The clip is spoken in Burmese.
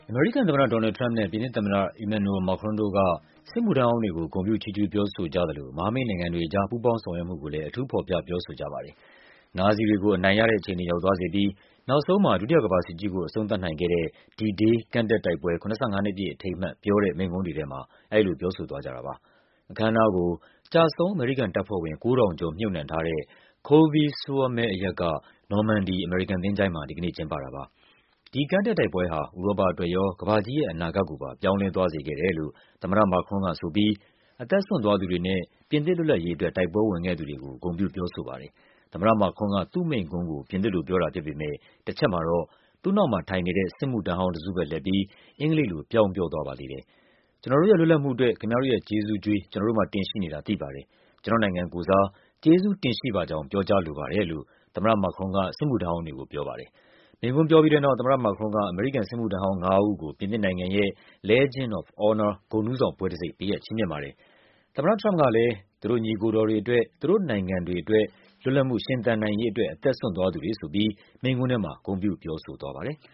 အမေရိကန်သမ္မတ Donald Trump နဲ့ ပြင်သစ်သမ္မတ Emmanuel Macron တို့က စစ်မှုထမ်းဟောင်းတွေကို ဂုဏ်ပြုချီးကျူး ပြောဆိုကြသလို မဟာမိတ်နိုင်ငံတွေကြား ပူးပေါင်းဆောင်ရွက်မှုကိုလည်း အထူး ဖော်ပြ ပြောဆိုကြပါတယ်။ နာဇီတွေကို အနိုင်ရ တဲ့အခြေအနေကို ရောက်သွားစေပြီး နောက်ဆုံးမှာ ဒုတိယကမ္ဘာစစ်ကြီးကို အဆုံးသတ်နိုင်ခဲ့တဲ့ D-Day ကမ်းတက်တိုက်ပွဲ ၇၅ နှစ်ပြည့်အထိမ်းအမှတ် ပြောတဲ့မိန့်ခွန်းတွေထဲမှာ အဲဒီလို ပြောဆိုသွားကြတာပါ။ အခမ်းအနားကို ကျဆုံး အမေရိကန်တပ်ဖွဲ့ဝင် ၉ ထောင်ကျော် မြှုပ်နှံထားတဲ့ Colleville-sur-Mer အရပ်က နော်မန်ဒီ အမေရိကန် သချိုၤင်းမှာ ဒီကနေ့ ကျင်းပတာပါ။ ဒီကမ်းတက်တိုက်ပွဲဟာ ဥရောပအတွက်ရော၊ ကမ္ဘာကြီးရဲ့အနာဂတ်ကိုပါ ပြောင်းလဲသွားစေခဲ့တယ်လို့ သမ္မတ Macron က ဆိုပြီး အသက်စွန့်သွားသူတွေနဲ့ ပြင်သစ်လွတ်လပ်ရေးအတွက် တိုက်ပွဲဝင်ခဲ့သူတွေကို ဂုဏ်ပြုပြောဆိုပါတယ်။ သမ္မတ Macron က သူ့ မိန့်ခွန်းကို ပြင်သစ်လိုပြောတာဖြစ်ပေမယ့် တချက်မှာတော့ သူ့နောက်မှာထိုင်နေတဲ့ စစ်မှုထမ်းဟောင်းတစုဘက်လှည့်ပြီး အင်္ဂလိပ်လို ပြောင်းပြောသွားပါသေးတယ်။ “ကျနော်တို့ရဲ့ လွတ်လပ်မှုအတွက် ခင်ဗျားတို့ရဲ့ ကျေးဇူးကြွေး ကျနော်တို့မှာ တင်ရှိနေတာ သိပါတယ်၊ ကျနော့်နိုင်ငံကိုယ်စား ကျေးဇူတင်ရှိပါကြောင်း ပြောကြားလိုပါတယ်” လို့ သမ္မတ Macron က စစ်မှုထမ်းဟောင်းတွေကို ပြောပါတယ်။ မိန့်ခွန်းပြောပြီးတဲ့နောက် သမ္မတ Macron က အမေရိကန်စစ်မှုထမ်းဟောင်းငါးဦးကို ပြင်သစ်နိုင်ငံရဲ့ Legion of Honor ဂုဏ်ထူး ဆောင်ဘွဲ့တံဆိပ် ပေးအပ်ချီးမြှင့်ပါတယ်။ သမ္မတ Trump ကလည်း သူတို့ညီအကိုတော်တွေအတွက်၊ သူတို့နိုင်ငံတွေအတွက်၊ လွတ်လပ်မှု ရှင်သန်နိုင်ရေးအတွက် အသက်စွန့်သွားသူတွေဆိုပြီး မိန့်ခွန်းထဲမှာ ဂုဏ်ပြု ပြောဆိုသွားပါတယ်။